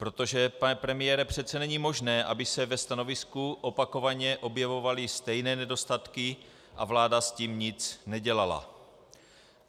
Protože, pane premiére, přece není možné, aby se ve stanovisku opakovaně objevovaly stejné nedostatky a vláda s tím nic nedělala!